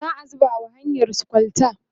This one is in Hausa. za'a zuba wa hanyarsu kwalta